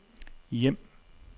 hjem